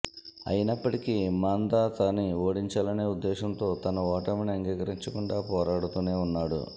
అయినప్పటికీ మందాత ని ఓడించాలన్న ఉద్దేశంతో తన ఓటమిని అంగీకరించకుండా పోరాడుతూనే ఉన్నాడు